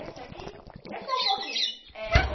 Essa aqui, é só um pouquinho. Eh eh